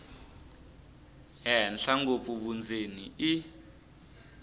henhla ngopfu vundzeni i